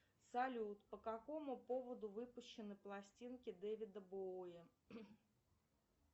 салют по какому поводу выпущены пластинки девида боуи